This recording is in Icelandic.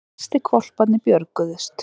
Flestir hvolparnir björguðust